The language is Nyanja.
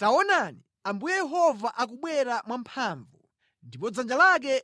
Taonani, Ambuye Yehova akubwera mwamphamvu, ndipo dzanja lake